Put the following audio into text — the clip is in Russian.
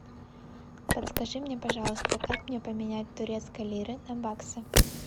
подскажи мне пожалуйста как мне поменять турецкие лиры на баксы